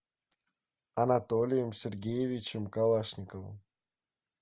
анатолием сергеевичем калашниковым